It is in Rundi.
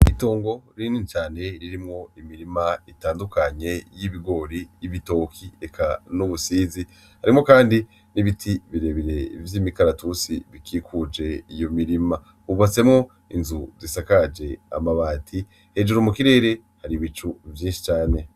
Itongo rinini cane ririmwo imirima itandukanye y'ibigori, ibitoki eka n'ubusizi harimwo kandi n'ibiti birebire vy'imikaratusi bikikuje iyo mirima hubatsemwo inzu zisakaje amabati hejuru mu kirere hari ibicu vyinshi cane.